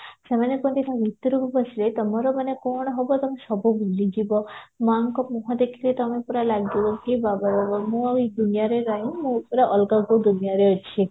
ସେମାନେ ତା ଭିତରକୁ ପଶିବେ ତମର ମାନେ କଣ ହବ ତମେ ସବୁ ଭୁଲିଯିବ ମାଙ୍କ ମୁହଁ ଦେଖିଲେ ତମେ ପୁରା ଲାଗିବ କି ମୁଁ ଆଉ ଏଇ ଦୁନିଆରେ ନାହି ମୁଁ ପୁରା ଅଲଗା କୋଉ ଦୁନିଆରେ ଅଛି